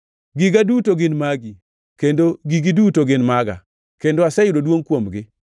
Giga duto gin magi, kendo gigi duto gin maga, kendo aseyudo duongʼ kuomgi.